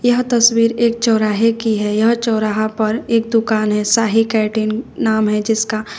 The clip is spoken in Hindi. यह तस्वीर एक चौराहे की है यह चौराहा पर एक दुकान है शाही कैटीन नाम है जिसका--